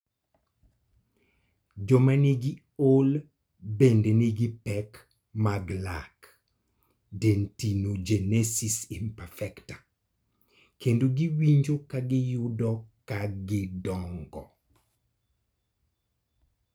Joma nigi OI bende nigi pek mag lak (dentinogenesis imperfecta) kendo giwinjo ka giyudo ka gidongo.